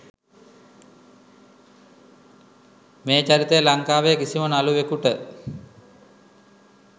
මේ චරිතය ලංකාවේ කිසිම නළුවෙකුට